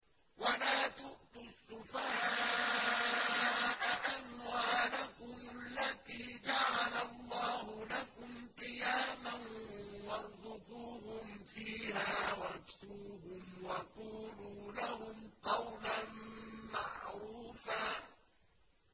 وَلَا تُؤْتُوا السُّفَهَاءَ أَمْوَالَكُمُ الَّتِي جَعَلَ اللَّهُ لَكُمْ قِيَامًا وَارْزُقُوهُمْ فِيهَا وَاكْسُوهُمْ وَقُولُوا لَهُمْ قَوْلًا مَّعْرُوفًا